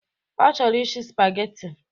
Ọ chọrọ ishi spageti.